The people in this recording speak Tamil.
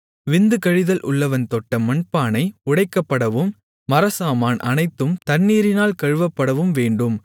விந்து கழிதல் உள்ளவன் தொட்ட மண்பானை உடைக்கப்படவும் மரச்சாமான் அனைத்தும் தண்ணீரினால் கழுவப்படவும் வேண்டும்